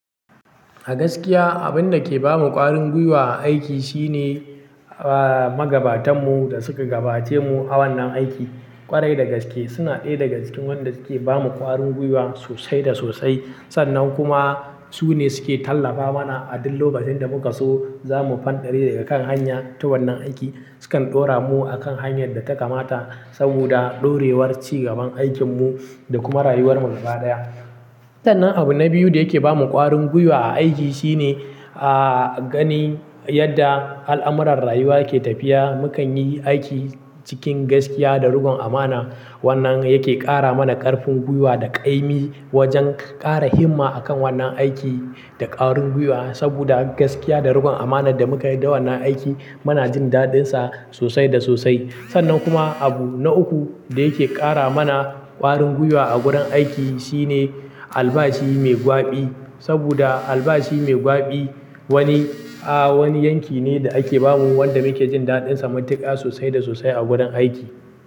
A gaskiya, abin da ke ba mu ƙwarin gwiwa a aiki shine, a, magabatanmu da suka gabace mu a wannan aiki. Ƙwarai dagaske suna ɗaya daga cikin wanda suke ba mu ƙwarin gwiwa sosai da sosai. Sannan kuma su ne suke tallafa mana a duk lokacin da muka so za mu fanɗare daga kan hanya ta wannan aiki. Sukan ɗora mu a kan hanyar da ta kamata saboda ɗorewar ci gaban aikin mu da kuma rayuwar mu gaba ɗaya. Sannan abu na biyu da yake ba mu ƙwarin gwiwa a aiki shine, a, gani yadda al'amuran rayuwa ke tafiya. Mukan yi aiki cikin gaskiya da riƙon amana. Wannan yake ƙara mana ƙarfin gwiwa da ƙaimi wajen ƙara himma a kan wannan aiki da ƙwarin gwiwa. Saboda gaskiya da riƙon amanar da muka yi da wannan aiki muna jin daɗinsa sosai da sosai. Sannan kuma abu na uku da yake ƙara mana ƙwarin gwiwa a gurin aiki shine albashi mai gwaɓi. Saboda albashi mai gwaɓi wani, a, wani yanki ne da ake ba mu wanda muke jin daɗinsa matuka sosai da sosai a gurin aiki.